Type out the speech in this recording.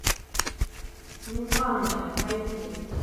незваная найти